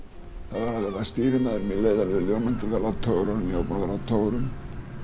að verða stýrimaður mér leið alveg ljómandi vel á togurunum ég var búinn að vera á togurum